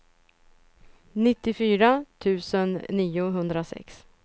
nittiofyra tusen niohundrasex